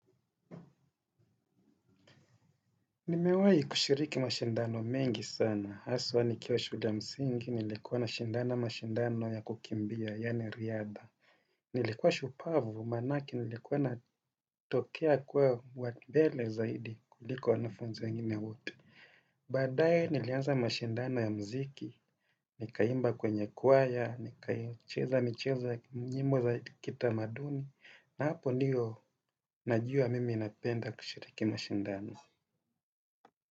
Nimewahi kushiriki mashindano mengi sana. Haswa nikiwa shule ya msingi, nilikuwa nashindana mashindano ya kukimbia, yaani riadha. Nilikuwa shupavu, maanake nilikuwa natokea kuwa wa mbele zaidi kuliko wanafunzi wengine wote. Badaye nilianza mashindano ya mziki, nikaimba kwenye kwaya, nikaicheza michezo nyimbo za kitamaduni, na hapo ndio najua mimi napenda kushiriki mashindano.